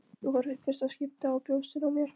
Þú horfir í fyrsta skipti á brjóstin á mér.